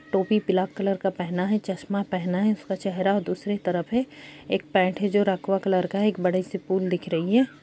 टोपी black colour का पहना है चश्मा पहना है उसका चेहरा दूसरे तरफ है एक पेंट है जो रखवा कलर का है‌ एक बड़े से पुल दिख रही है।